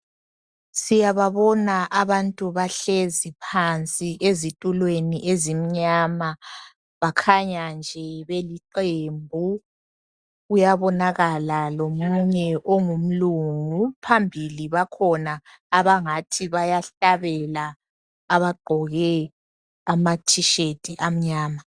Siyabona abantu bahlezi phansi ezithulweni ezimnyama. Bakhanya nje beliqembu. Kuyabonakala lomunwe ongumlungu, phambili bakhona abangathi bayahlabela abagqoke ama thishethi amnyama.